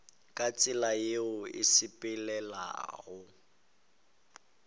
ka tsela yeo e sepelelanago